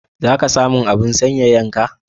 Za ka san mun abun sanyayan ka?